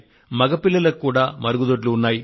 మగపిల్లలకు కూడా మరుగుదొడ్లు ఉన్నాయి